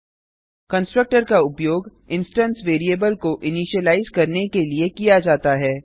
httpwwwspoken tutorialओआरजी constructor का उपयोग इंस्टेंस वैरिएबल को इनिशिलाइज करने के लिए किया जाता है